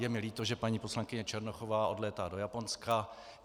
Je mi líto, že paní poslankyně Černochová odlétá do Japonska.